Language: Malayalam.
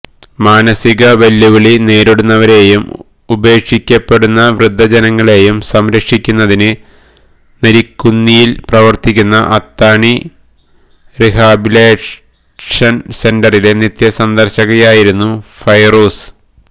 മാനസിക വെല്ലുവിളി നേരിടുന്നവരെയും ഉപേക്ഷിക്കപ്പെടുന്ന വൃദ്ധജനങ്ങളെയും സംരക്ഷിക്കുന്നതിന് നരിക്കുനിയില് പ്രവര്ത്തിക്കുന്ന അത്താണി റിഹാബിലിറ്റേഷന് സെന്ററിലെ നിത്യസന്ദര്ശകയായിരുന്ന ഫൈറൂസ